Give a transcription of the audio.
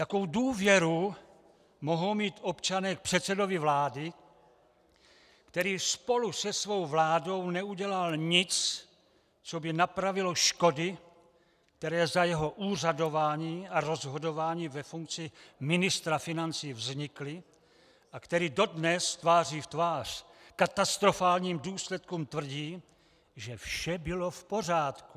Jakou důvěru mohou mít občané k předsedovi vlády, který spolu se svou vládou neudělal nic, co by napravilo škody, které za jeho úřadování a rozhodování ve funkci ministra financí vznikly, a který dodnes tváří v tvář katastrofálním důsledkům tvrdí, že vše bylo v pořádku?